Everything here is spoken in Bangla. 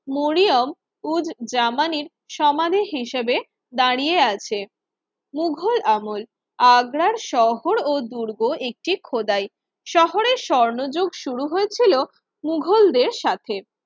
মরিয়ম উদ জামানির সমাধী হিসেবে দাঁড়িয়ে আছে মুঘল আমল আগ্রার শহর ও দুর্গ একটি খোদাই শহরের স্বর্ণযুগ শুরু হয়েছিল মুঘলদের সাথে